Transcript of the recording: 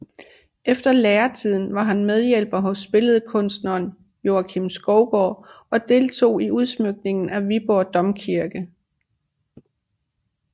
Efter læretiden var han medhjælper hos billedkunstneren Joakim Skovgaard og deltog i udsmykningen af Viborg Domkirke